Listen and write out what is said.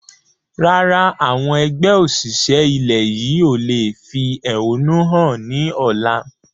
Rárá, àwọn ẹgbẹ́ òṣìṣẹ́ ilẹ̀ yí o lè fi ẹhónú hàn ni ọ̀la.